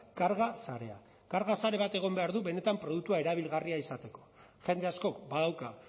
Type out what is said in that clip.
karga sarea karga sare batek egon behar du benetan produktua erabilgarria izateko jende askok badauka